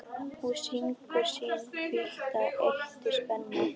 Hún sýgur sinn hvíta eitur spena.